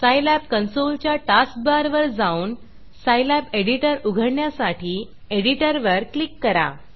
Scilab console च्या task बारवर जाऊन सायलॅब एडिटर उघडण्यासाठी एडिटर वर क्लिक करा